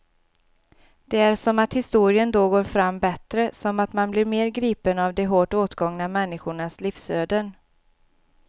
Det är som att historien då går fram bättre, som att man blir mer gripen av de hårt åtgångna människornas livsöden.